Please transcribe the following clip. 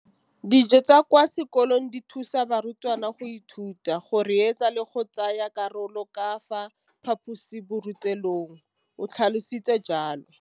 Dijo tsa kwa sekolong dithusa barutwana go ithuta, go reetsa le go tsaya karolo ka fa phaposiborutelong, o tlhalositse jalo.